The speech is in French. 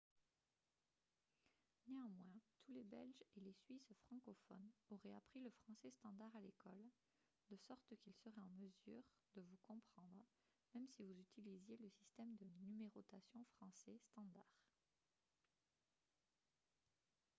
néanmoins tous les belges et les suisses francophones auraient appris le français standard à l'école de sorte qu'ils seraient en mesure de vous comprendre même si vous utilisiez le système de numérotation français standard